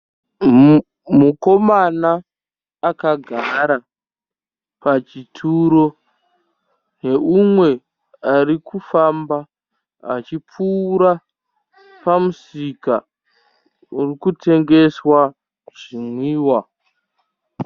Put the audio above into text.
Mukomana akagara pachituro neumwe arikufamba achipfuura pamusika uri kutengeswa zvimwiwa .